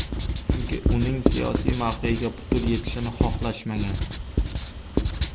Chunki uning siyosiy mavqeyiga putur yetishini xohlashmagan.